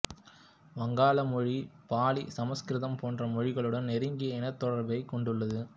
வங்காள மொழி பாளி சமஸ்கிருதம் போன்ற மொழிகளுடன் நெருங்கிய இனத்தொடர்பைக் கொண்டுள்ளது